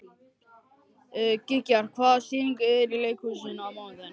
Gígjar, hvaða sýningar eru í leikhúsinu á mánudaginn?